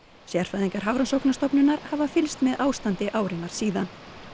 sérfræðingar Hafrannsóknastofnunar hafa fylgst með ástandi árinnar síðan